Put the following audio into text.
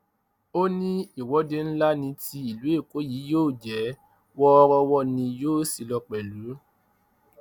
ó ní ìwọde ńlá ní ti ìlú èkó yìí yóò jẹ wọọrọwọ ni yóò sì lọ pẹlú